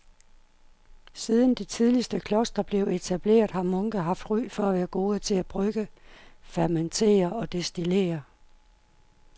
Siden de tidligste klostre blev etableret har munke haft ry for at være gode til at brygge, fermentere og destillere.